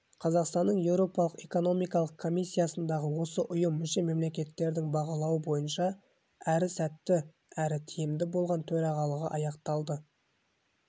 қазақстанның еуропалық экономикалық комиссиясындағы осы ұйым мүше-мемлекеттердің бағалауы бойынша әрі сәтті әрі тиімді болған төрағалығы аяқталды